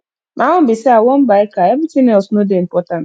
my own be say i wan buy car everything else no dey important